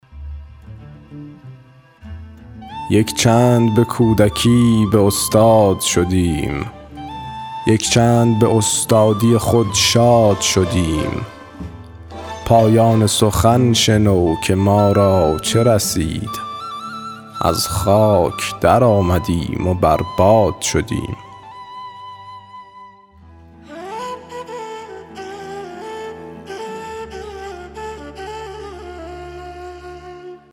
یک چند به کودکی به استاد شدیم یک چند به استادی خود شاد شدیم پایان سخن شنو که ما را چه رسید از خاک در آمدیم و بر باد شدیم